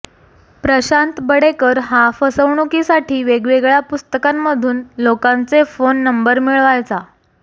प्रशांत बडेकर हा फसवणुकीसाठी वेगवेगळ्या पुस्तकांमधून लोकांचे फोन नंबर मिळवायचा